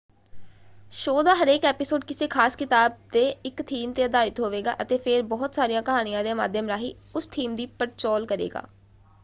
Show ਦਾ ਹਰੇਕ episode ਕਿਸੇ ਖ਼ਾਸ ਕਿਤਾਬ ਦੇ ਇੱਕ ਥੀਮ ‘ਤੇ ਆਧਾਰਿਤ ਹੋਵੇਗਾ ਅਤੇ ਫੇਰ ਬਹੁਤ ਸਾਰੀਆਂ ਕਹਾਣੀਆਂ ਦੇ ਮਾਧਿਅਮ ਰਾਹੀਂ ਉਸ ਥੀਮ ਦੀ ਪੜਚੋਲ ਕਰੇਗਾ।